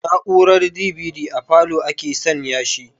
Na'urar DVD a falow ake san ya shi